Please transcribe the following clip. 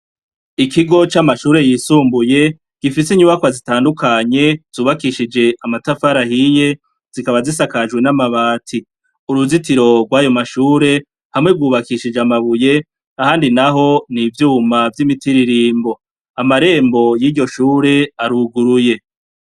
Ikigo ca mashuri yisumbuye gifise inyubakwa gifise inyubakwa zitandukanye zubakishije amatafari ahiye zikaba zisakajwe n'amabati uruzitiro rwayo mashuri hamwe rwubakishije amabuye ahandi naho n'ivyuma vyimitiririmbo amarembo yiryo shuri aruguruye.